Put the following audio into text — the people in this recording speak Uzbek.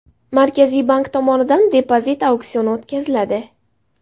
Markaziy bank tomonidan depozit auksioni o‘tkaziladi.